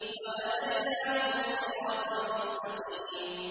وَهَدَيْنَاهُمَا الصِّرَاطَ الْمُسْتَقِيمَ